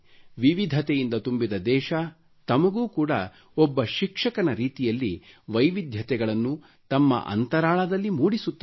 ವಿವಿಧತೆಯಿಂದ ತುಂಬಿದ ದೇಶ ತಮಗೂ ಕೂಡ ಒಬ್ಬ ಶಿಕ್ಷಕನ ರೀತಿಯಲ್ಲಿ ವೈವಿಧ್ಯತೆಗಳನ್ನು ತಮ್ಮ ಅಂತರಾಳದಲ್ಲಿ ಮೂಡಿಸುತ್ತದೆ